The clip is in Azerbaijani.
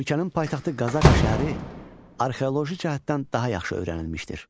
Ölkənin paytaxtı Qazaka şəhəri arxeoloji cəhətdən daha yaxşı öyrənilmişdir.